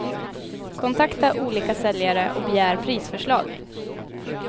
Kontakta olika säljare och begär prisförslag.